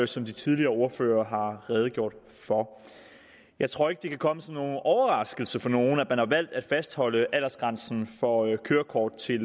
som de tidligere ordførere har redegjort for jeg tror ikke det kan komme som nogen overraskelse for nogen at man har valgt at fastholde aldersgrænsen for kørekort til